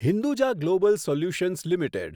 Hinduja global solutions limited